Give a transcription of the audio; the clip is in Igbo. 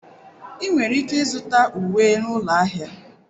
Ị nwere ike ịzụta uwe na ụlọ ahịa.